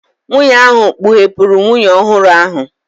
Nwunye ahụ kpughepụrụ nwunye ọhụrụ ahụ.